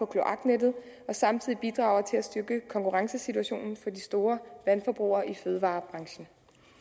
kloaknettet og samtidig bidrager til at styrke konkurrencesituationen for de store vandforbrugere i fødevarebranchen